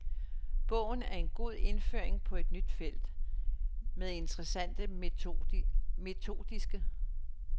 Bogen er en god indføring på et nyt felt, med interessante metodiske.